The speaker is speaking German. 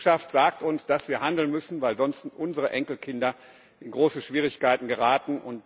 Die Wissenschaft sagt uns, dass wir handeln müssen, weil sonst unsere Enkelkinder in große Schwierigkeiten geraten.